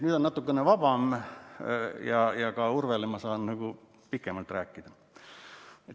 Nüüd on natukene vabam ja ka Urvele saan ma pikemalt vastata.